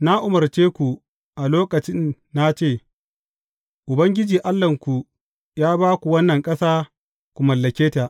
Na umarce ku a lokacin na ce, Ubangiji Allahnku ya ba ku wannan ƙasa ku mallake ta.